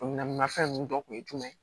Minan fɛn nunnu dɔ kun ye jumɛn ye